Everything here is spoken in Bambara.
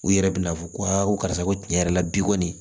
U yɛrɛ bina fɔ ko ko karisa ko tiɲɛ yɛrɛ la bi kɔni